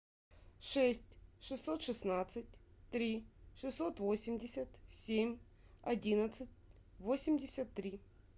шесть шестьсот шестнадцать три шестьсот восемьдесят семь одиннадцать восемьдесят три